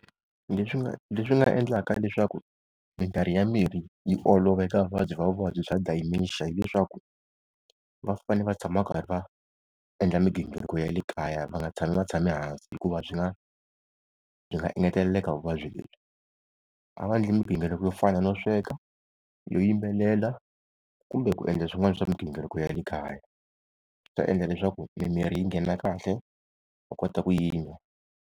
Leswi nga leswi nga endlaka leswaku mikarhi ya mirhi yi olova eka vuvabyi bya vuvabyi bya Dementia, hileswaku va fanele va tshama karhi va endla migingiriko ya le kaya va nga tshami va tshame hansi hikuva swi nga byi nga engeteleleke vuvabyi lebyi. A va endli migingiriko yo fana no sweka, yo yimbelela kumbe ku endla swin'wana swa migingiriko ya le kaya, swi ta endla leswaku mimirhi yi nghena kahle va kota ku yi n'wa.